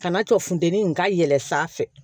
Kana tɔ funteni in ka yɛlɛ sanfɛ